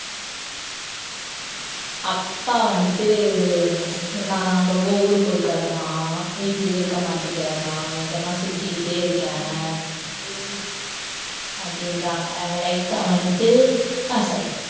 அப்பா வந்துட்டு உம் நான் ரொம்ப ஊர் பொறுக்கறன்னா ஆஹ் வீட்டிலேயே இருக்க மாட்டேங்கிறன்னா எங்கன்னா சுத்திக்கிட்டே இருக்கேன் அப்படின்றாங்க light ஆ வந்துட்டு ஹம் sorry